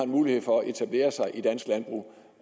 mulighed for at etablere sig i dansk landbrug